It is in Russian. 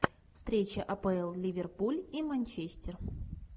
встреча апл ливерпуль и манчестер